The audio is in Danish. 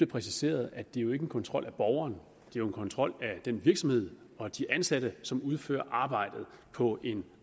præciseret at det jo ikke er en kontrol af borgerne det er en kontrol af den virksomhed og de ansatte som udfører arbejdet på en